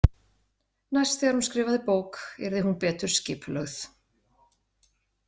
Næst þegar hún skrifaði bók yrði hún betur skipulögð.